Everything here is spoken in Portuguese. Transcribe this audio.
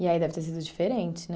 E aí deve ter sido diferente, né?